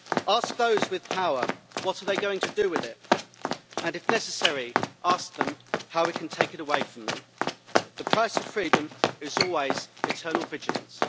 Ask those with power what they are going to do with it, and if necessary, ask them how we can take it away from them. The price of freedom is always eternal vigilance.